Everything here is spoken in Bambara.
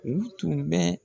U tun bɛ